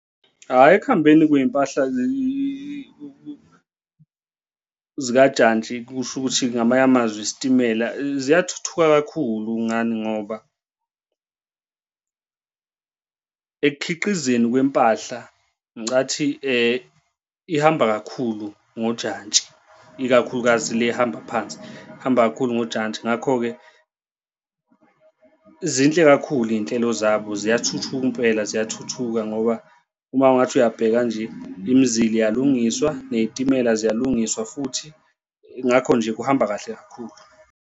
Hhayi, ekuhambeni kwey'mpahla zikajantshi kusho ukuthi ngamanye amazwe isitimela ziyathuthuka kakhulu ngani ngoba ekukhiqizeni kwempahla. Ngicathi ihamba kakhulu ngojantshi ikakhulukazi le ehamba phansi, ihamba kakhulu ngojantshi ngakho-ke zinhle kakhulu iy'nhlelo zabo ziyathuthuka impela ziyathuthuka ngoba uma ungathi uyabheka nje, imizila iyalungiswa ney'timela ziyalungiswa futhi. Ngakho nje kuhamba kahle kakhulu.